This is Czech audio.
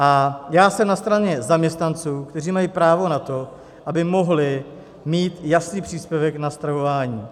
A já jsem na straně zaměstnanců, kteří mají právo na to, aby mohli mít jasný příspěvek na stravování.